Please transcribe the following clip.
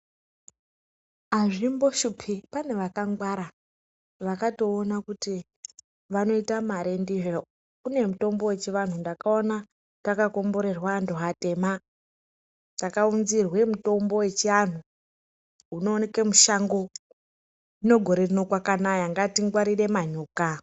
Azvi mboshupi, pane vakangwara vakatowona kuti vanoita mari ndizvo. Kune mitombo yechi vanhu ndakawona taka komborerwa anhu atema taka wunzirwe mitombo wechi anhu unowanikwe mushango. Zvino gore rino kwakanaya ngatingwarire manyoka.